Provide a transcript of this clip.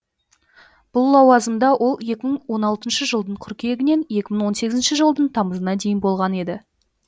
бұл лауазымда ол екі мың он алтыншы жылдың қыркүйегінен екі мың он сегізінші жылдың тамызына дейін болған еді